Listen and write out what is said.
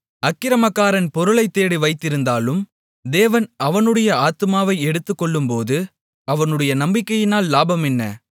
அக்கிரமக்காரன் பொருளைத் தேடி வைத்திருந்தாலும் தேவன் அவனுடைய ஆத்துமாவை எடுத்துக்கொள்ளும்போது அவனுடைய நம்பிக்கையினால் லாபம் என்ன